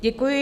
Děkuji.